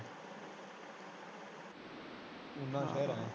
ਉਨਾ ਸ਼ਹਿਰ ਆ।